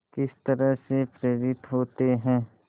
किस तरह से प्रेरित होते हैं